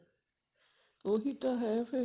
ਉਹੀ ਤਾਂ ਹੈ ਫੇਰ